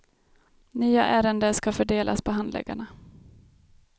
Nya ärende ska fördelas på handläggarna.